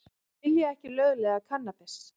Vilja ekki lögleiða kannabis